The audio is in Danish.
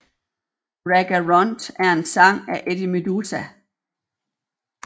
Ragga Runt er en sang af Eddie Meduza